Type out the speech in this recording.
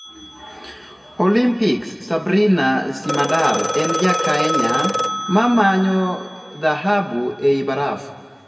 Olimpiks: Sabrina Simader en Jakenya mamanyo Dhahabu ei baraf'.